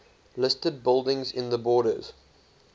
listed buildings in the borders